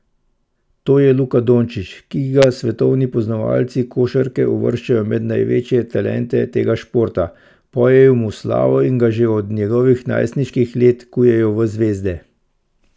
To je Luka Dončič, ki ga svetovni poznavalci košarke uvrščajo med največje talente tega športa, pojejo mu slavo in ga že od njegovih najstniških let kujejo v zvezde.